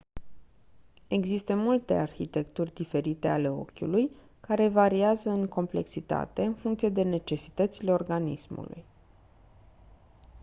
există multe arhitecturi diferite ale ochiului care variază în complexitate în funcție de necesitățile organismului